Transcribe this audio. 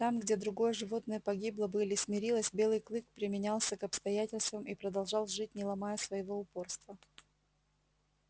там где другое животное погибло бы или смирилось белый клык применялся к обстоятельствам и продолжал жить не ломая своего упорства